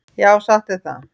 Já, satt er það.